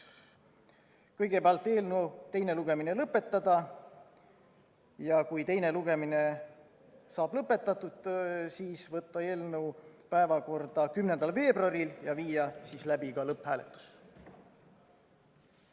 Kõigepealt, eelnõu teine lugemine lõpetada ja kui teine lugemine saab lõpetatud, siis võtta eelnõu päevakorda 10. veebruaril ja viia läbi ka lõpphääletus.